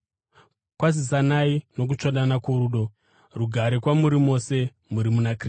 Kwazisanai nokutsvodana kworudo. Rugare kwamuri mose muri muna Kristu.